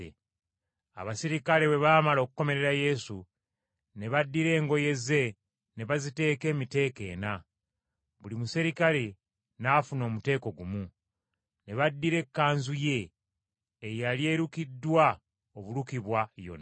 Abaserikale bwe baamala okukomerera Yesu, ne baddira engoye ze ne baziteeka emiteeko ena. Buli muserikale n’afuna omuteeko gumu. Ne baddira ekkanzu ye, eyali erukiddwa obulukibwa yonna,